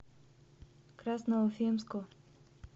красноуфимску